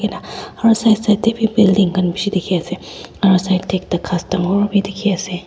Lah aro side side dae bhi building khan bhi beshi dekhe ase aro side dae ekta ghas dangor bhi dekhe ase.